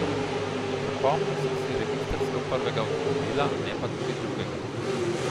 Zapomnil sem si registrsko prvega avtomobila, ne pa tudi drugega.